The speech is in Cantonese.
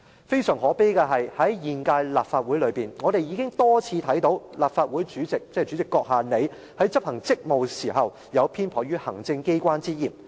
非常可悲的是，在現屆立法會內，我們已多次看到立法會主席——即主席閣下，你——在執行職務時，有偏頗行政機關之嫌。